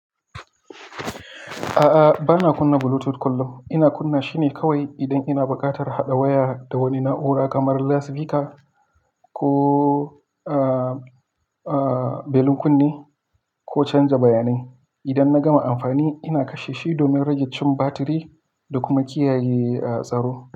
A'a, bana kunna Bluetooth kullum. Ina kunna shi ne kawai idan ina buƙatar haɗa waya da wani na'ura kamar USB card ko, belin kunne ko canja bayanai. Idan na gama amfani, ina kashe shi domin rage cin batiri da kuma kiyaye tsaro.